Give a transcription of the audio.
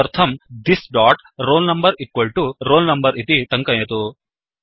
तदर्थंthis roll number roll number इति टङ्कयतु